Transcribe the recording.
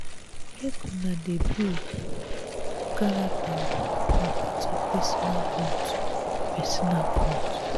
make una dey build character o na part of personal growth. personal growth.